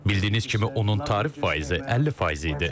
Bildiyiniz kimi onun tarif faizi 50% idi.